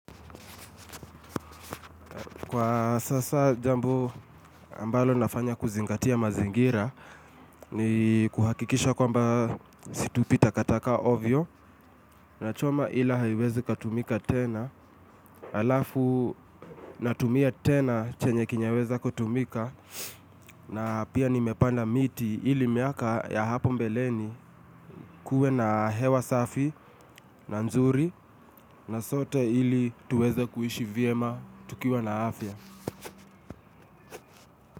Kwa sasa jambo ambalo nafanya kuzingatia mazingira ni kuhakikisha kwamba situpi takataka ovyo. Nachoma ila haiwezi katumika tena. Alafu natumia tena chenye kinyeweza kutumika. Pia nimepanda miti ili miaka ya hapo mbeleni kuwe na hewa safi na nzuri. Na sote ili tuweza kuishi vyema tukiwa na afya.